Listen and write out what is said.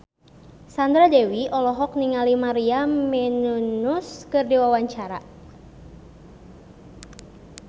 Sandra Dewi olohok ningali Maria Menounos keur diwawancara